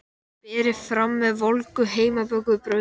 Berið fram með volgu heimabökuðu brauði.